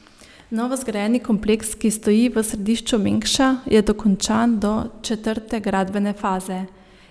Novozgrajeni kompleks, ki stoji v središču Mengša, je dokončan do četrte gradbene faze.